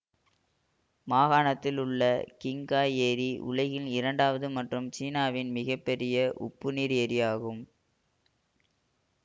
மாகாணத்தில் உள்ள சிங்காய் ஏரி உலகின் இரண்டாவது மற்றும் சீனாவின் மிக பெரிய உப்பு நீர் ஏரி ஆகும்